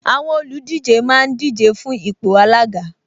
Àwọn olùdíje máa ń díje fún ipò alága